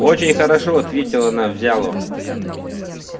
очень хорошо ответила она взяло